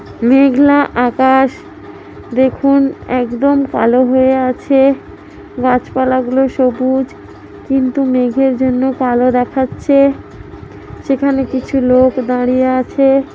মেঘলা আকাশ দেখুন একদম কালো হয়ে আছে গাছপালাগুলো সবুজ কিন্তু মেঘের জন্য কালো দেখাচ্ছে সেখানে কিছু লোক দাঁড়িয়ে আছে।